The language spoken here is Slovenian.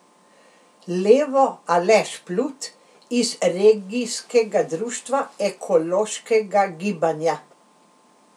Levo Aleš Plut iz Regijskega društva ekološkega gibanja.